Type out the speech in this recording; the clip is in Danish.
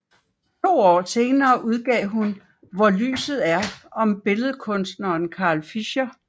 To år senere udgav hun Hvor lyset er om billedkunstneren Carl Fischer